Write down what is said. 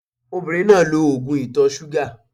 Obìnrin náà lo ògùn ìtọ̀-súgà